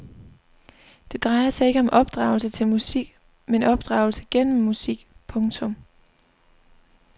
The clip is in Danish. Det drejer sig ikke om opdragelse til musik men opdragelse gennem musik. punktum